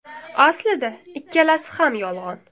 Aslida ikkalasi ham yolg‘on.